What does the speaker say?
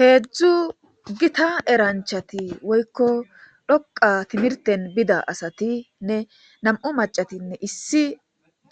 heedzdzu gita eranchati woykko dhoqa timirten bida asatinne nam7u macatinne issi